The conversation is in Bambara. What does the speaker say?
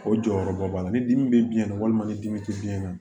O jɔyɔrɔba b'a la ni dimi be biyɛn na walima ni dimi te biyɛn na